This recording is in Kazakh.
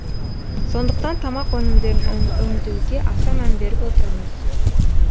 сондықтан тамақ өнімдерін өңдеуге аса мән беріп отырмыз